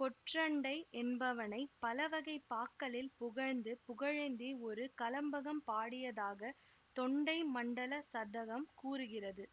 கொற்றண்டை என்பவனைப் பலவகைப் பாக்களில் புகழ்ந்து புகழேந்தி ஒரு கலம்பகம் பாடியதாகத் தொண்டை மண்டல சதகம் கூறுகிறது